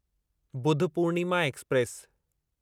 Budh Purnima express